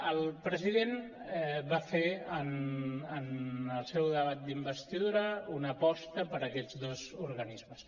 el president va fer en el seu debat d’investidura una aposta per aquests dos organismes